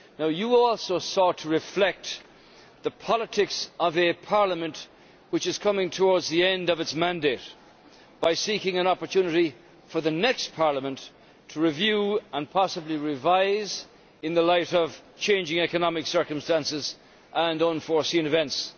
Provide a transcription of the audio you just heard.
You also sought to reflect the politics of a parliament which is coming towards the end of its mandate by seeking an opportunity for the next parliament to review and possibly revise in the light of changing economic circumstances and unforeseen events.